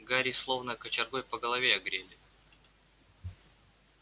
гарри словно кочергой по голове огрели